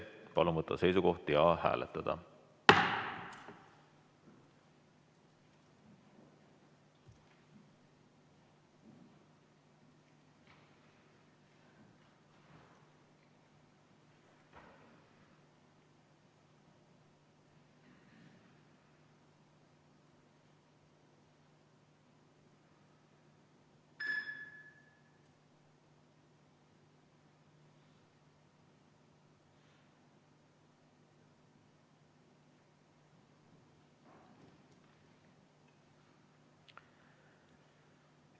Palun võtta seisukoht ja hääletada!